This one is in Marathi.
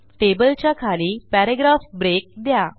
टेबलच्या खाली पॅराग्राफ ब्रेक द्या